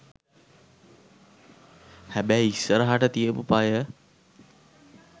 හැබැයි ඉස්සරහට තියපු පය